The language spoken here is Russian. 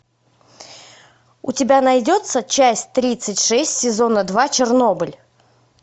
у тебя найдется часть тридцать шесть сезона два чернобыль